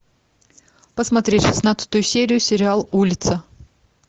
посмотреть шестнадцатую серию сериал улица